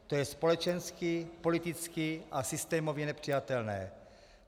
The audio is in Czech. To je společensky, politicky a systémově nepřijatelné.